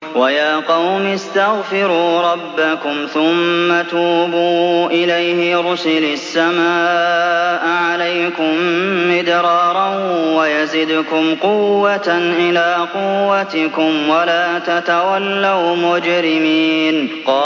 وَيَا قَوْمِ اسْتَغْفِرُوا رَبَّكُمْ ثُمَّ تُوبُوا إِلَيْهِ يُرْسِلِ السَّمَاءَ عَلَيْكُم مِّدْرَارًا وَيَزِدْكُمْ قُوَّةً إِلَىٰ قُوَّتِكُمْ وَلَا تَتَوَلَّوْا مُجْرِمِينَ